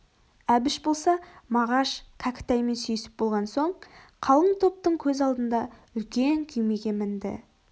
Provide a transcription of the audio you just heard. әбіш болса мағаш кәкітаймен сүйісіп болған соң қалың топтың көз алдында үлкен күймеге мінді